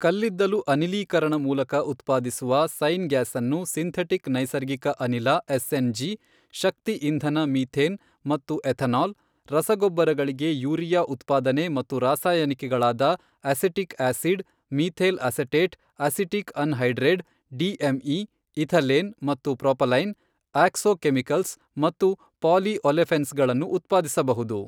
ಕಲ್ಲಿದ್ದಲು ಅನಿಲೀಕರಣ ಮೂಲಕ ಉತ್ಪಾದಿಸುವ ಸೈನ್ ಗ್ಯಾಸ್ ಅನ್ನು ಸಿಂಥೆಟಿಕ್ ನೈಸರ್ಗಿಕ ಅನಿಲ ಎಸ್ಎನ್ ಜಿ, ಶಕ್ತಿ ಇಂಧನ ಮಿಥೇನ್ ಮತ್ತು ಎಥೆನಾಲ್, ರಸಗೊಬ್ಬರಗಳಿಗೆ ಯೂರಿಯಾ ಉತ್ಪಾದನೆ ಮತ್ತು ರಾಸಾಯನಿಕಗಳಾದ acetic acid, methyl acetate, acetic anhydride, DME, ethylene ಮತ್ತು ಪ್ರೊಪಲೈನ್, ಆಕ್ಸೋ ಕೆಮಿಕಲ್ಸ್ ಮತ್ತು ಪಾಲಿ ಒಲೆಫೆನ್ಸ್ ಗಳನ್ನು ಉತ್ಪಾದಿಸಬಹುದು.